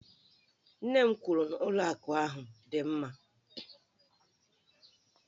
Nne m kwuru na ụlọ akụ ahụ dị mma